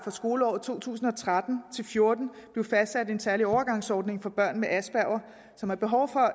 for skoleåret to tusind og tretten til fjorten blive fastsat en særlig overgangsordning for børn med asperger som har behov for